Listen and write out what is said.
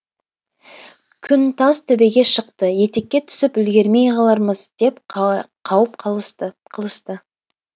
күн тас төбеге шықты етекке түсіп үлгермей қалармыз деп қауіп қылысты